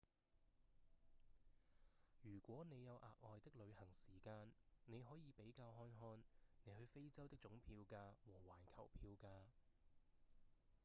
如果你有額外的旅行時間你可以比較看看你去非洲的總票價和環球票價